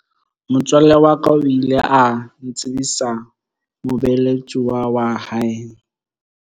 Motswalle wa ka o ile a ntsebisa mobeeletsuwa wa hae.